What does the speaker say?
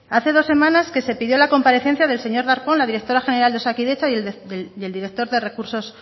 hace dos semanas que se pidió la comparecencia del señor darpón la directora general de osakidetza y el director de recursos